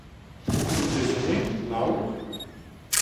Rezime, nauk?